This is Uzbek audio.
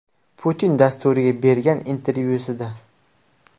Putin” dasturiga bergan intervyusida.